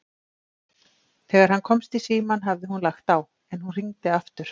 Þegar hann komst í símann hafði hún lagt á, en hún hringdi aftur.